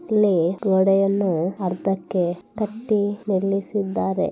ಇಲ್ಲಿ ಗೋಡೆಯನ್ನು ಅರ್ದಕ್ಕೆ ಕಟ್ಟಿ ನಿಲ್ಲಿಸಿದ್ದಾರೆ.